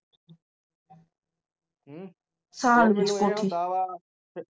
ਸਾਰਾ ਦਿਨ ਕੋਠੀ